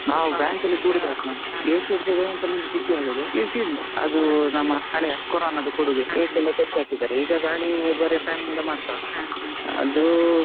ನಾವು bank ಅಲ್ಲಿ AC ಇರ್ತದೆ ಅಂತ ನೋಡಿ ಖುಷಿಯಾದದ್ದು, ಆದ್ರೆ AC ಇಲ್ಲ, ಅದು ನಮ್ಮ ಹಳೆಯ ಕೊರೋನದ್ದು ಕೊಡುಗೆ, AC ಎಲ್ಲಾ ತೆಗ್ದ್ ಹಾಕಿದ್ದಾರೆ ಈಗ ಬರಿ ಗಾಳಿ ಬರಿ fan ಇಂದ ಮಾತ್ರ .